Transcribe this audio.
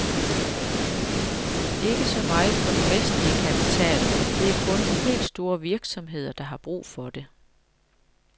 Ikke så meget for den vestlige kapital, det er kun de helt store virksomheder, der har brug for det.